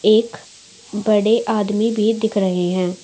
एक बड़े आदमी भी दिख रहे है।